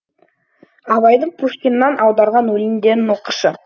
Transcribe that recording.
абайдың пушкиннан аударған өлеңдерін оқышы